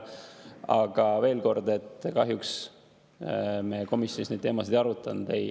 Aga veel kord: kahjuks me komisjonis neid teemasid ei arutanud.